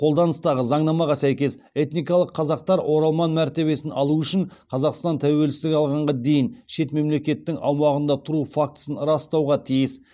қолданыстағы заңнамаға сәйкес этникалық қазақтар оралман мәртебесін алу үшін қазақстан тәуелсіздік алғанға дейін шет мемлекеттің аумағында тұру фактісін растауға тиіс